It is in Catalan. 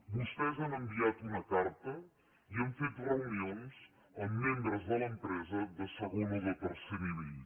vostès han enviat una carta i han fet reunions amb membres de l’empresa de segon o de tercer nivell